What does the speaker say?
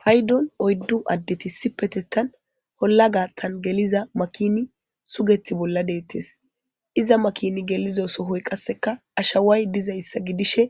paydon oyddu addeti si petettan holla gaattan geliza makini sugeti bolla deettes iza makin gelizo sohoy qasseka ashaway dizayssa gidishe